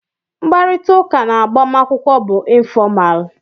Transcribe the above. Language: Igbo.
Mkparịtaụka na agbamakwụkwọ bụ ịnfọmal.